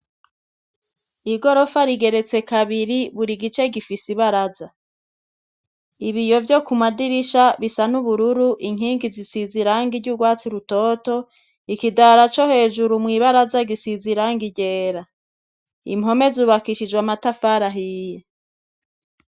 Igorofa rigeretse kabiri buri gice gifis’ibaraza. Ibiyo vyo kumadirisha bisa n’ubururu, inkingi zisize irangi ry’urwatsi rutoto, ikidara co hejuru mw’ibaraza gisiz’irangi ryera, impome zubakishijw’amatafar’ahiye.